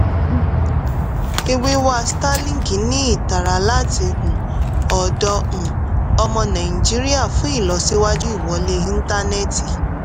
ìwíwá starlink ní ìtara láti um ọ̀dọ̀ um ọmọ nàìjíríà fún ìlọsíwájú ìwọlé ìntánẹ́ti.